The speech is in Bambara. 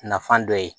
Nafan dɔ ye